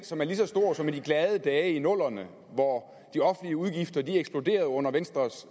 som er lige så stor som i de glade dage i nullerne hvor de offentlige udgifter eksploderede under venstres